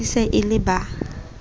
e se e le ba